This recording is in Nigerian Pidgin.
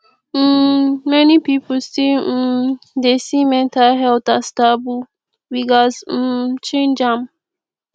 um many pipo still um dey see mental health as taboo we gats um change am